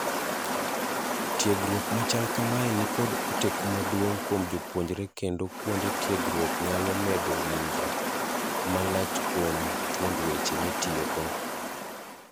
tiegruok machal kamae nikod oteku maduong' kuom jopuonjre kendo kuonde tiegruoknyalo medo winjo malachkuom thuond weche mitiyogo.